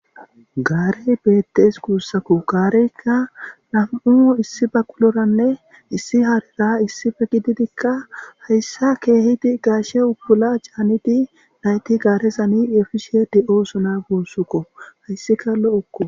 Gare betees gusako gareka na,mu issi baqulora nne issi harera issippe gididika hayisa keriridi gashe utula ca,nidi nayiti garezan efishe de,osona gusako hesika lo,oko